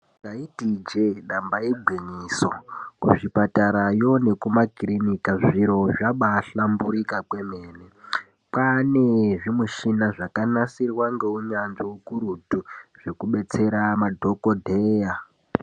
Taiti ijee damba igwinyiso kuzvipatarayo nekumakirinika zviro zvabahlamburika kwemene. Kwane zvimishina zvakanasirwa ngeunyanzvi ukurutu zvekubetsera madhokodheya.